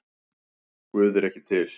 Guð er ekki til